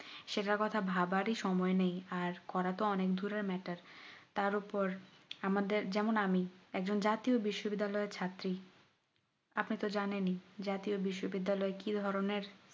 সেটার কথা ভাবার ই সময় নেই আর করা তো অনেক দূরের matter তার উপর আমাদের যেমন আমি জাতীয় বিশ্ব বিদ্যালয় এর ছাত্রী আপনি তো জানেন ই জাতীয় বিশ্ব বিদ্যালয় কি ধরনের